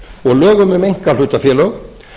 og lögum um einkahlutafélög